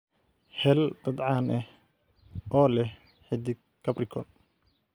hel dad caan ah oo leh xiddig capricorn